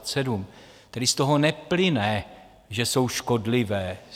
Tedy z toho neplyne, že jsou škodlivé.